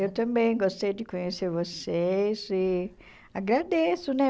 Eu também gostei de conhecer vocês e agradeço, né?